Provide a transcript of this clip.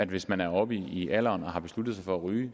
hvis man er oppe i alderen og har besluttet sig for at ryge